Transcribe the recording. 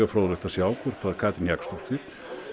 fróðlegt að sjá hvort að Katrín Jakobsdóttir